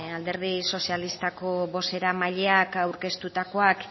alderdi sozialistako bozeramaileak aurkeztutakoak